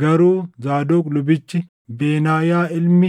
Garuu Zaadoq lubichi, Benaayaa ilmi